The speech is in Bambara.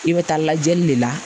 I bɛ taa lajɛli de la